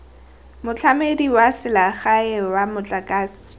motlamedi wa selegae wa motlakase